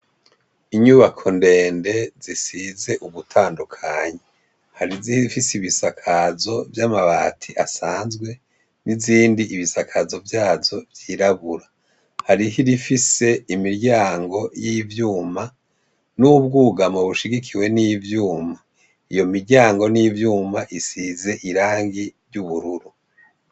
Inyubako ndende zisize ugutandukanyi hari izihorifise ibisakazo vy'amabati asanzwe n'izindi ibisakazo vyazo vyirabura hari ho irifise imiryango y'ivyuma n'ubwougamo bushigikiwe n'ivyuma iyo miryangoni ivyuma isize irangi ry'ubururu.